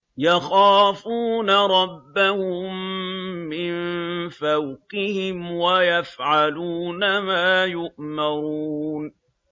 يَخَافُونَ رَبَّهُم مِّن فَوْقِهِمْ وَيَفْعَلُونَ مَا يُؤْمَرُونَ ۩